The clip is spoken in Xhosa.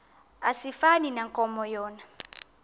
asifani nankomo yona